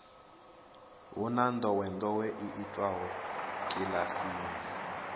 hu na ndowendowe yo itiwaho kilasini